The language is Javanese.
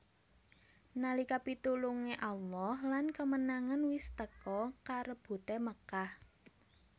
Nalika pitulunge Allah lan kemenangan wis teka karebute Makkah